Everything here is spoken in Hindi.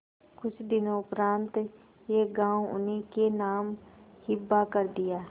कुछ दिनों उपरांत यह गॉँव उन्हीं के नाम हिब्बा कर दिया